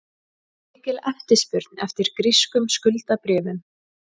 Mikil eftirspurn eftir grískum skuldabréfum